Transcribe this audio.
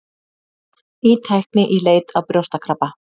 Ný tækni í leit að brjóstakrabba